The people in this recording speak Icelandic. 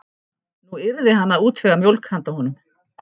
Nú yrði hann að útvega mjólk handa honum.